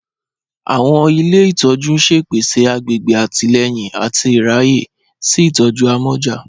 Awọn ilẹ̀ ìtọ̀jú n ṣẹ̀ pẹ̀sẹ̀ àgbègbè àtìlẹ̀yìn àti ìráyè sí ìtọ̀jú àmọ̀já